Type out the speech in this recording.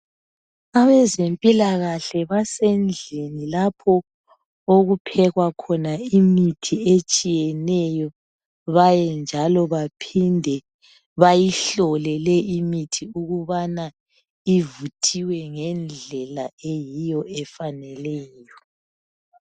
Abezempilakahle basendlini lapho okuphekwa khona imithi etshiyeneyo bayinjalo baphinde bayihlole le imithi ukubana ivurhiwe ngendlela eyiyo efaneleyo